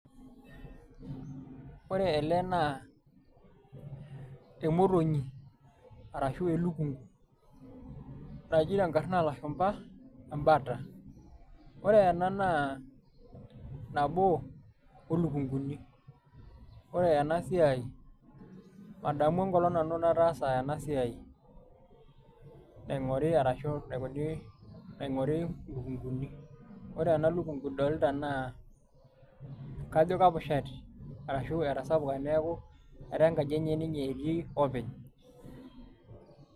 ore ele naa emotonyi arashu elukunku, naji tenkara oolashumpa embata. ore ena naa nabo olukunkuni, ore ena siai madamu enkolong nanu nataasa ena siai, naingori arashu naingoru lukunkuni. ore ena luknku idolita naa kajo kepushati arashu etasapuka neku kajo enkaji enye etii niye openy.